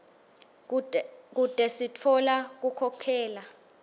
kute sitfola kukhokhela